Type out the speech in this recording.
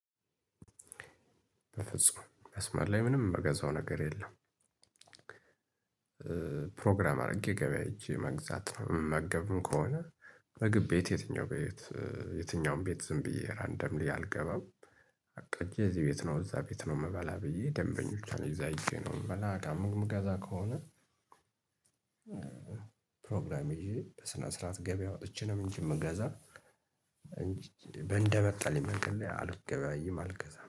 በፍጹም መስመር ላይ ምንም የምገዛው ነገር የለም። ፕሮግራም አድርጌ ገበያ ሄጄ መግዛት ነው የምመገብም ከሆነ ምግብ ቤት የትኛው ቤት የትኛውም ቤት ዝም ብዬ ራንደምሊ አልገባም። አቅጄ እዚህ ቤት ነው እዛ ቤት ነው የምበላ ብዬ ደንበኞች አሉኝ እዛ ሄጄ ነው የምበላ ዳቦ የምገዛ ከሆነ። ፕሮግራም ይዤ በስነ ስርዓት ገበያ ወጥቼ ነው እንጂ የምገዛ እንጂ እንደመጣልኝ መንገድ ላይ አልገበያይም አልገዛም